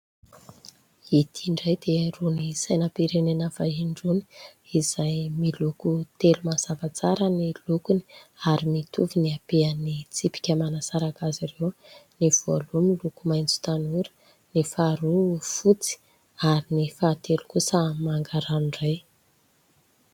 Ity indray dia irony sainam-pirenena vahiny irony izay miloko telo mazava tsara ny lokony ary mitovy ny abehan'ny tsipika manasaraka azy ireo : ny voalohany miloko maitso tanora, ny faharoa fotsy ary ny fahatelo kosa manga ranoray.